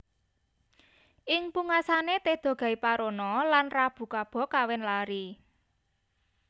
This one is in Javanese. Ing pungkasané Teda Gaiparona lan Rabu Kaba kawin lari